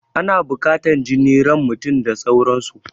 Ana buƙatan jini, ran mutum da sauran su